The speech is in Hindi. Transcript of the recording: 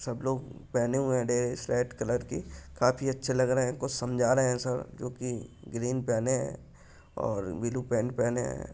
सब लोग पहने हुए हैं ड्रेस रेड कलर की। काफी अच्छे लग रहे हैं। कुछ समझा रहे हैं सब जो कि ग्रीन पहने है और ब्लू पैन्ट पहने है।